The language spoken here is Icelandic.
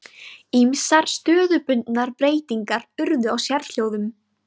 Ýmsar stöðubundnar breytingar urðu á sérhljóðum.